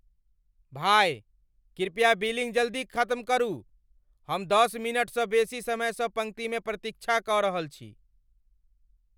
भाय, कृपया बिलिंग जल्दी खत्म करू! हम दश मिनटसँ बेसी समयसँ पङ्क्तिमे प्रतीक्षा कऽ रहल छी।